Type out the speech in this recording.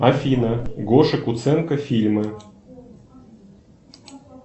афина гоша куценко фильмы